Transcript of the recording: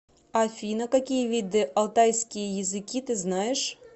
афина какие виды алтайские языки ты знаешь